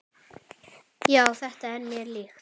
Já, þetta er mér líkt.